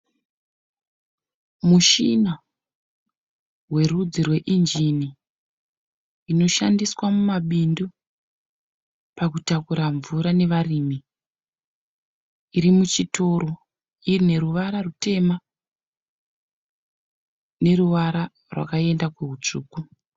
Mushina werudzi rweinjini inoshandiswa mumabindu pakutakura mvura nevarume iri muchitoro ine ruvara rutema neruvara rwakaenda kuhutsvuku.